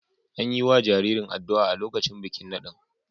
An yi wa jaririn addu’a a lokacin bikin nadin.